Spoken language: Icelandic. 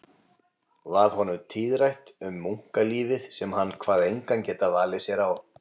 Varð honum tíðrætt um munklífið sem hann kvað engan geta valið sér án